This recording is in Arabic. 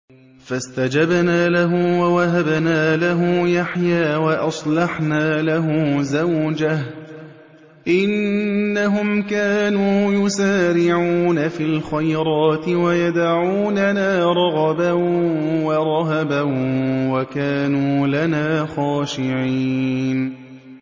فَاسْتَجَبْنَا لَهُ وَوَهَبْنَا لَهُ يَحْيَىٰ وَأَصْلَحْنَا لَهُ زَوْجَهُ ۚ إِنَّهُمْ كَانُوا يُسَارِعُونَ فِي الْخَيْرَاتِ وَيَدْعُونَنَا رَغَبًا وَرَهَبًا ۖ وَكَانُوا لَنَا خَاشِعِينَ